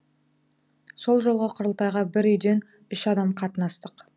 сол жолғы құрылтайға бір үйден үш адам қатынастық